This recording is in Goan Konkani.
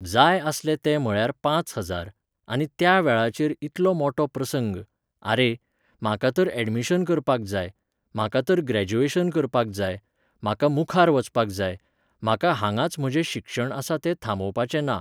जाय आसले ते म्हळ्यार पांच हजार, आनी त्या वेळाचेर इतलो मोटो प्रसंग, आरे, म्हाका तर ऍडमिशन करपाक जाय, म्हाका तर ग्रॅज्युएशन करपाक जाय, म्हाका मुखार वचपाक जाय, म्हाका हांगाच म्हजें शिक्षण आसा तें थांबोवपाचें ना.